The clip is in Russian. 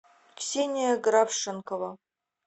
ксения графшенкова